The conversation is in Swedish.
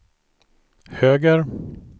höger